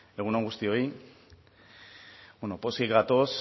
egun on guztioi bueno pozik gatoz